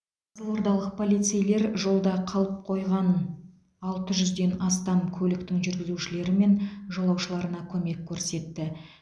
қызылордалық полицейлер жолда қалып қойған алты жүзден астам көліктің жүргізушілері мен жолаушыларына көмек көрсетті